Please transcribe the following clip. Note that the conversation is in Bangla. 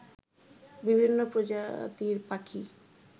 বিভিন্ন প্রজাতির পাখি